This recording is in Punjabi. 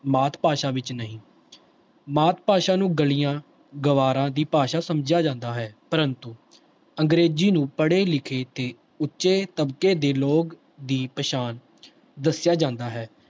ਮਾਤ ਭਾਸ਼ਾ ਵਿੱਚ ਨਹੀਂ ਮਾਤ ਭਾਸ਼ਾ ਨੂੰ ਗਲੀਆਂ ਗਵਾਰਾਂ ਦੀ ਭਾਸ਼ਾ ਸਮਝਿਆ ਜਾਂਦਾ ਹੈ ਪ੍ਰੰਤੂ ਅੰਗਰੇਜ਼ੀ ਨੂੰ ਪੜ੍ਹੇ ਲਿਖੇ ਤੇ ਉੱਚੇ ਦਬਕੇ ਦੇ ਲੋਕ ਦੀ ਪਛਾਣ ਦੱਸਿਆ ਜਾਂਦਾ ਹੈ।